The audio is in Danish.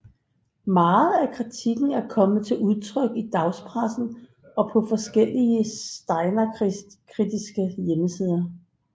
Meget af kritikken er kommet til udtryk i dagspressen og på forskellige steinerkritiske hjemmesider